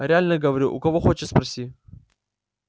реально говорю у кого хочешь спроси